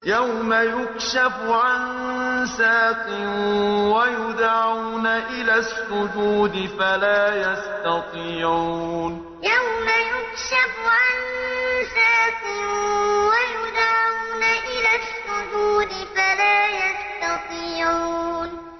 يَوْمَ يُكْشَفُ عَن سَاقٍ وَيُدْعَوْنَ إِلَى السُّجُودِ فَلَا يَسْتَطِيعُونَ يَوْمَ يُكْشَفُ عَن سَاقٍ وَيُدْعَوْنَ إِلَى السُّجُودِ فَلَا يَسْتَطِيعُونَ